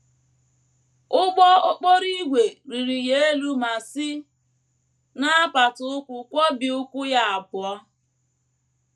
Ụgbọ okporo ígwè rịrị ya elu ma si n’apata ụkwụ kwọbie ụkwụ ya abụọ.